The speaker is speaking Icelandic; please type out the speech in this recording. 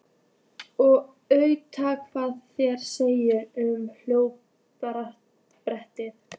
Og athuga hvað þeir segja um hótunarbréfið.